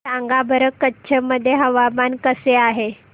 सांगा बरं कच्छ मध्ये हवामान कसे आहे